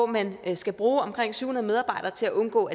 man skal bruge omkring syv hundrede medarbejdere til at undgå